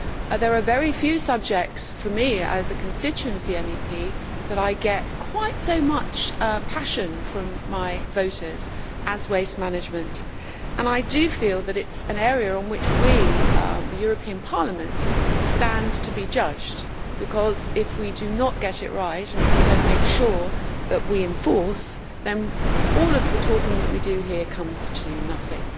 There are very few subjects for me as a constituency MEP that I get quite so much passion from my voters about as waste management. I feel that it is an area in which we, the European Parliament, stand to be judged. If we do not get it right and if we do not make sure that we enforce, then all of the talking that we do here comes to nothing.